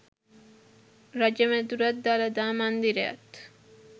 රජ මැදුරත් දළදා මන්දිරයත්